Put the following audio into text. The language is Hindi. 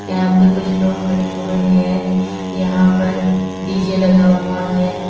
यहां पे कुछ लोग खड़े हुए हैं यहां पर डी_जे लगा हुआ है।